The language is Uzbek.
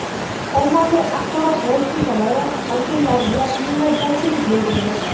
ommaviy axborot vositalari vakillariga minnatdorchilik bildirdi.